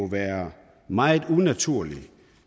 være meget unaturligt